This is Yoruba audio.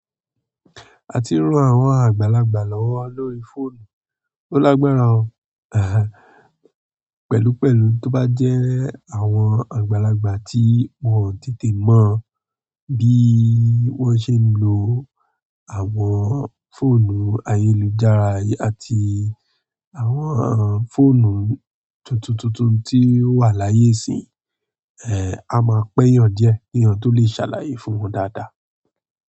A ti ń rán àwọn àgbàlagbà lọ́wọ́ lórí fóònù. Ó lágbára ọ, ehn pẹ̀lúpẹ̀lú tó bá jẹ́ àwọn àgbàlagbà tí wọ́n ò tètè mọ̀ bí wọ́n ṣe ń lo àwọn fóònù ayélujára àti àwọn fóònù tuntuntun tí ó wà láyé ìsín, ẹ, a máa pẹ́ yàn díẹ̀, èèyàn tó lè ṣàlàyé fún wọn dáadáa.